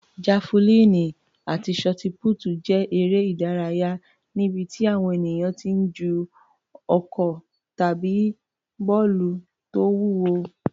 Jafulíìnì àti ṣọtipútì jẹ́ eré ìdárayá níbi tí àwọn ènìyàn ti ń ju ọ̀kọ̀ tàbí bọ́ọ̀lù tó wúwo.